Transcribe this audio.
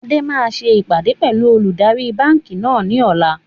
Adé máa ṣe ìpàdé pẹlu olùdarí báńkì náà ni ọ̀la